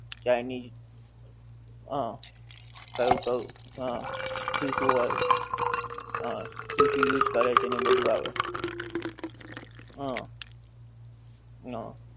chinese હા કયું કયું હા શું શું હોએ હા શું શું use કરે છે ને એવું બધું આવે હા હા